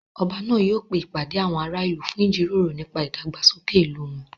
Ọba náà yóò pe ìpàdé àwọn ará ìlú fún ìjíròrò nípa ìdàgbàsókè ìlú wọn